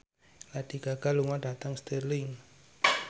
Lady Gaga lunga dhateng Stirling